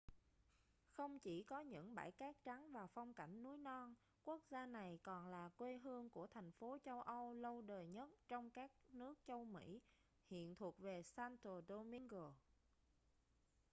không chỉ có những bãi cát trắng và phong cảnh núi non quốc gia này còn là quê hương của thành phố châu âu lâu đời nhất trong các nước châu mỹ hiện thuộc về santo domingo